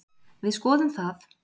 Við skoðum það.